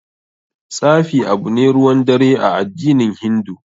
Tsafi abu ne ruwan dare a addinin hindu.